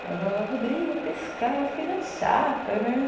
Aí eu falava, Rodrigo, pescar é uma coisa chata, né?